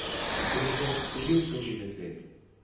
Fotke so že obkrožile svet.